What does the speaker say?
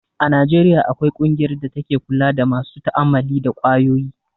A Najeriya akwai ƙungiyar da take kula da masu ta'ammali da kwayoyi